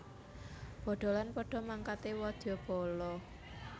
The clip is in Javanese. Bodholan padha mangkate wadyabala